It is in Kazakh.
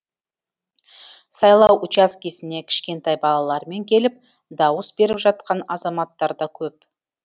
сайлау учаскесіне кішкентай балаларымен келіп дауыс беріп жатқан азаматтар да көп